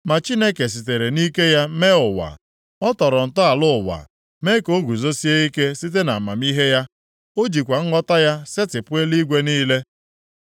Ma Chineke sitere nʼike ya mee ụwa. Ọ tọrọ ntọala ụwa mee ka o guzosie ike site nʼamamihe ya, ọ jikwa nghọta ya setịpụ eluigwe niile.